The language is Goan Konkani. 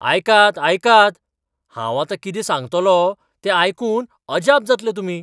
आयकात आयकात, आतां हांव कितें सांगतलों ते आयकून अजाप जातले तुमी.